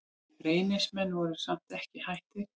Reynismenn voru samt ekki hættir.